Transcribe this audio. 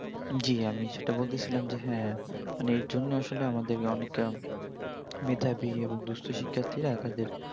জি আমি যেটা বলতেছিলাম যে হ্যাঁ মানে এরজন্যে আসলে আমাদের অনেক মেধাবি এবং দুস্থ শিক্ষারথিরা তাদের